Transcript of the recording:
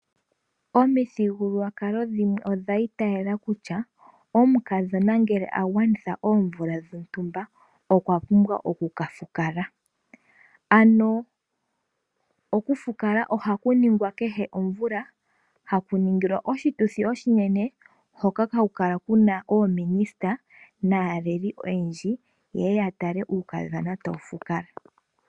Omithigululwakalo dhimwe odha itayela kutya, omukadhona ngele a gwanitha oomvula dhontumba okwa pumbwa oku ka fukala. Ano oku fukalaoha ku ningwa kehe omvula, ha ku ningilwa oshituthi oshinene, hoka ha ku kala Kuna oominista naaleli oyendji, yeye ya tale uukadhona ta wu fukala.